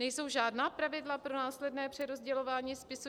Nejsou žádná pravidla pro následné přerozdělování spisů?